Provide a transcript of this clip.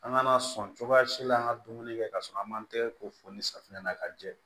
An ka na sɔn cogoya si la an ka dumuni kɛ kasɔrɔ an m'an tɛgɛ ko fo ni safinɛ ye ka jɛ